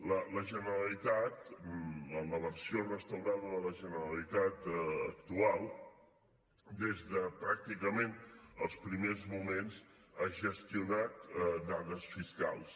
la generalitat en la versió restaurada de la generalitat actual des de pràcticament els primers moments ha gestionat dades fiscals